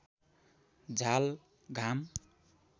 झाल घाम